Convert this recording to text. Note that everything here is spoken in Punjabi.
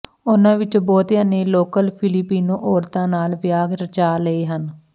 ਉਹਨਾਂ ਵਿੱਚੋਂ ਬਹੁਤਿਆਂ ਨੇ ਲੋਕਲ ਫਿਲੀਪੀਨੋ ਔਰਤਾਂ ਨਾਲ ਵਿਆਹ ਰਚਾ ਲਏ ਹਨ